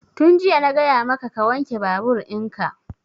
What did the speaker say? Tun jiya na gaya maka ka wanke babur in ka!